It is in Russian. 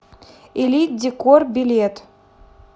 элит декор билет